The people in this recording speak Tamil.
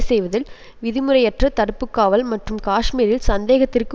செய்வதில் விதிமுறையற்ற தடுப்புக்காவல் மற்றும் காஷ்மீரில் சந்தேகத்திற்கு